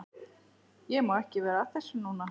Ég má ekki vera að þessu núna.